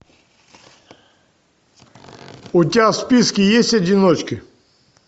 у тебя в списке есть одиночки